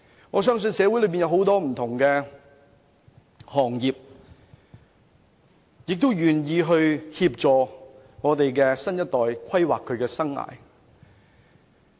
我相信社會上很多不同行業均願意協助我們的新一代規劃他們的生涯。